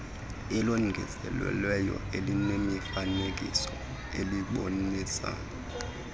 elongezelelweyo elinemifanekiso elibonisa